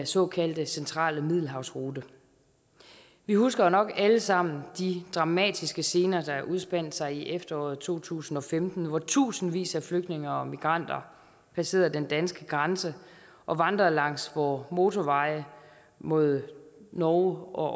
såkaldte centrale middelhavsrute vi husker jo nok alle sammen de dramatiske scener der udspandt sig i efteråret to tusind og femten hvor tusindvis af flygtninge og migranter passerede den danske grænse og vandrede langs vore motorveje mod norge og